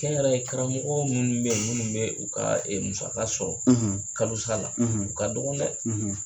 Kɛnyɛrɛye karamɔgɔ minnu bɛ minnu bɛ u ka musaka sɔrɔ, , kalosa la , ,u ka dɔgɔ dɛ!